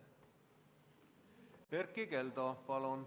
Erkki Keldo, palun!